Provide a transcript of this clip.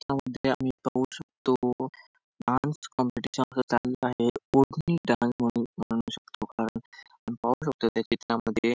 या मध्ये आम्ही पाहू शकतो डान्स कॉम्पिटिशन चालू आहे कोकणी डान्स म्हणून म्हणू शकतो कारण पाहू शकतो त्या चित्रामध्ये --